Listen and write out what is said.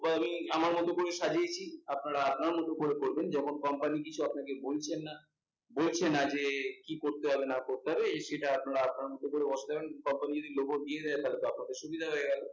আহ আমি আমার মতো করে সাজিয়েছি, আপনারা আপনার মতো করবেন যখন company কিছু আপনাকে বলছেন না, বলছে না যে কি করতে হবে না করতে হবে, তবে সেটা আপনারা আপনার মতো করে বসাতে যাবেন। comapny যদি logo দিয়ে দেয় তাহলে আপনাদের সুবিধা হয়ে গেলো